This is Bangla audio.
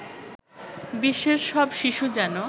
বিশ্বের সব শিশু যেনো